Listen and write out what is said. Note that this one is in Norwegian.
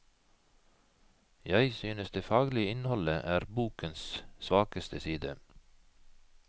Jeg synes det faglige innholdet er bokens svakeste side.